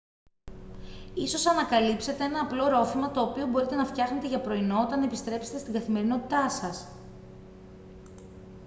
ίσως ανακαλύψετε ένα απλό ρόφημα το οποίο μπορείτε να φτιάχνετε για πρωινό όταν επιστρέψετε στην καθημερινότητά σας